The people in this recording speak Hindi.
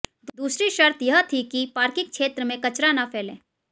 दूसरी शर्त यह थी कि पार्किंग क्षेत्र में कचरा न फैले